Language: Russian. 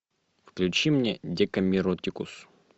включи мне декамеротикус